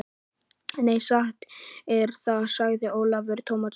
Nei, satt er það, sagði Ólafur Tómasson.